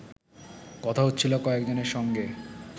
কথা হচ্ছিল কয়েকজনের সঙ্গে